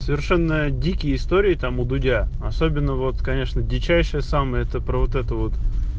совершенно дикие истории там у дудя особенно вот конечно дичайшая сама это про вот это вот